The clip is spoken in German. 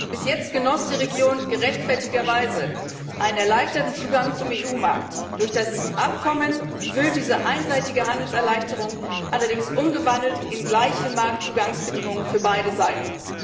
Bis jetzt genoss die Region gerechtfertigterweise einen erleichterten Zugang zum EU Markt. Durch das Abkommen wird diese einseitige Handelserleichterung allerdings umgewandelt in gleiche Marktzugangsbedingungen für beide Seiten.